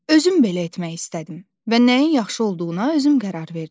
Özüm belə etmək istədim və nəyin yaxşı olduğuna özüm qərar verdim.